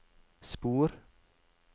spor